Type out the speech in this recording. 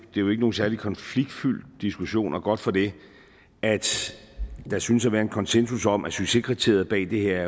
jo ikke nogen særlig konfliktfyldt diskussion og godt for det at der synes at være en konsensus om at succeskriteriet bag det her